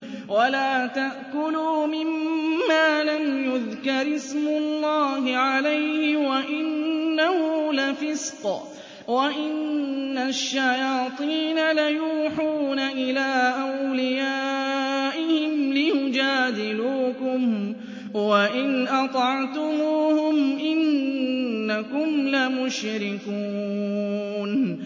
وَلَا تَأْكُلُوا مِمَّا لَمْ يُذْكَرِ اسْمُ اللَّهِ عَلَيْهِ وَإِنَّهُ لَفِسْقٌ ۗ وَإِنَّ الشَّيَاطِينَ لَيُوحُونَ إِلَىٰ أَوْلِيَائِهِمْ لِيُجَادِلُوكُمْ ۖ وَإِنْ أَطَعْتُمُوهُمْ إِنَّكُمْ لَمُشْرِكُونَ